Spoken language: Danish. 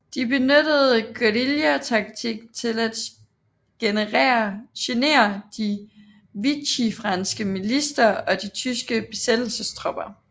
De benyttede guerillataktik til at genere de vichyfranske militser og de tyske besættelsestropper